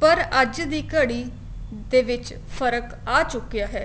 ਪਰ ਅੱਜ ਦੀ ਘੜੀ ਦੇ ਵਿੱਚ ਫ਼ਰਕ ਆ ਚੁੱਕਿਆ ਹੈ